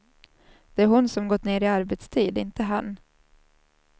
Det är hon som gått ner i arbetstid, inte han.